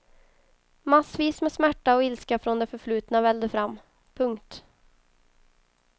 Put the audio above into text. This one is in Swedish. Massvis med smärta och ilska från det förflutna vällde fram. punkt